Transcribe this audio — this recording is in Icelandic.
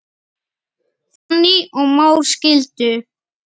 Fanný og Már skildu.